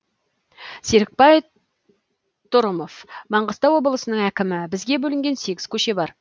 серікбай трұмов маңғыстау облысының әкімі бізге бөлінген сегіз көше бар